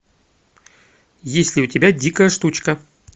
есть ли у тебя дикая штучка